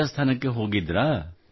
ರಾಜಸ್ಥಾನಕ್ಕೆ ಹೋಗಿದ್ದಿರೋ